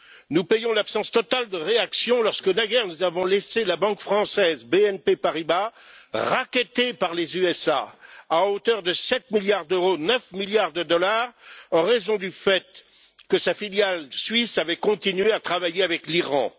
Nous payons l'absence totale de réaction lorsque naguère, nous avons laissé la banque française BNP Paribas être rackettée par les États Unis à hauteur de 7 milliards d'euros 9 milliards de dollars en raison du fait que sa filiale suisse avait continué à travailler avec l'Iran.